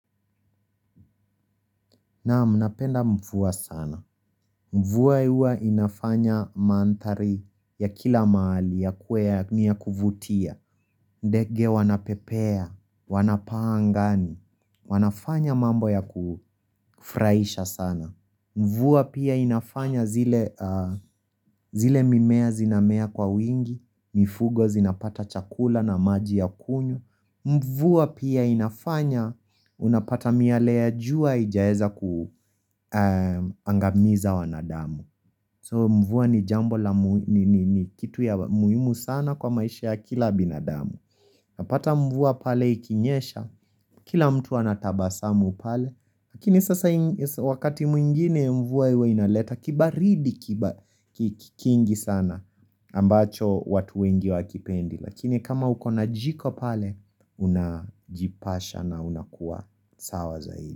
Naam, napenda mvua sana. Mvua huwa inafanya manthari ya kila mahali yakuwe ni ya kuvutia. Ndege wanapepea, wanapaa angani. Wanafanya mambo ya kufurahisha sana. Mvua pia inafanya zile, mimea zinamea kwa wingi, mifugo zinapata chakula na maji ya kunywa. Mvua pia inafanya, unapata miyale ya jua ijaeza kuangamiza wanadamu So mvua ni jambo la kitu ya muhimu sana kwa maisha ya kila binadamu. Napata mvua pale ikinyesha, kila mtu anatabasamu pale. Lakini sasa wakati mwingine mvua huwa inaleta kibaridi kingi sana. Ambacho watu wengi wakipendi. Lakini kama huko na jiko pale, unajipasha na unakuwa sawa zaidi.